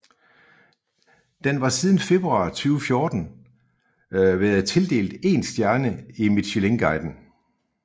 Den var siden februar 2014 været tildelt én stjerne i Michelinguiden